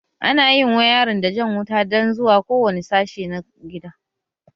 Ana yin wayarin dan jan wuta zuwa kowane sashe na gida